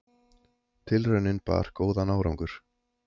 Tilraunin bar góðan árangur.